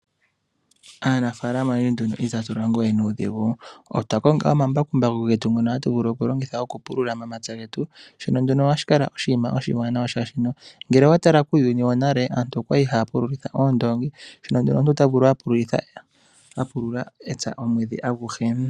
Aanafalama otundji itatu longo we nuudhigu otwa konga omambakumbaku getu ngoka hatu vulu okulongitha okupulula omapya getu sho nduno ohashi kala oshinima oshiwanawa molwashono ngele owa tala kuuyuni wonale aantu okwa li haa pululitha oondongi shono tashi eta omuntu a pulule epya omwedhi aguhe.